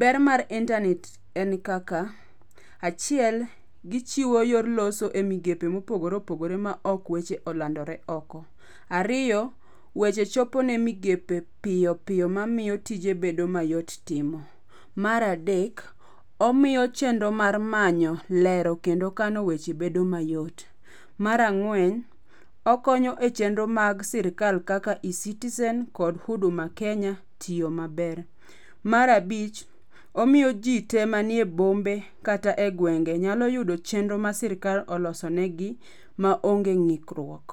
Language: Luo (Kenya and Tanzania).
Ber mar inanet en kaka. Achiel, gichiwo yor loso e migepe mopogore opogore maok weche olandore oko. Ariyo, weche chopo ne migepe piyopiyo mamiyo tije bedo mayot timo. Mar adek, omiyo chenro mar manyo, lero kendo kano weche bedo mayot. Mar ang'wen, okonyo e chenro mag sirikal kaka eCitizen kod huduma kenya tiyo maber. Mar abich, omiyo ji te manie bombe kata e gwenge nyalo yudo chenro ma sirikal olosonegi maonge ng'ikruok.